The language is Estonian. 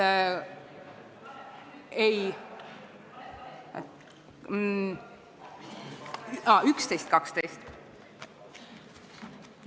Ettepanekud nr 11 ja 12.